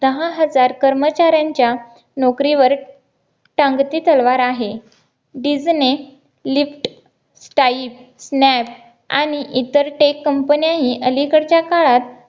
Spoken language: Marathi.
दहा हजार कर्मचाऱ्यांच्या नोकरीवर टांगती तलवार आहे डिस्नी lift type snap आणि इतर tech COMPANY न्या ही अलीकडच्या काळात